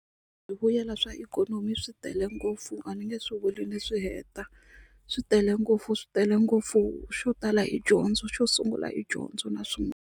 swa ikhonomi swi tele ngopfu a ni nge swi vuli ni swi heta swi tele ngopfu swi tele ngopfu xo tala hi dyondzo xo sungula hi dyondzo na swin'wana.